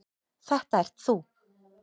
Þetta ert þú.